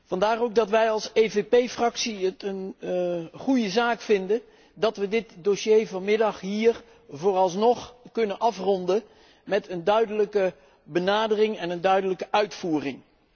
Vandaar ook dat wij als EVP Fractie het een goede zaak vinden dat we dit dossier vanmiddag hier vooralsnog kunnen afronden met een duidelijke benadering en een duidelijke uitvoering.